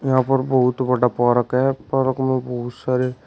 यहां पर बहुत बड़ा पार्क है पार्क में बहुत सारे--